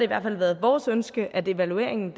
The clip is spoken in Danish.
hvert fald været vores ønske at evalueringen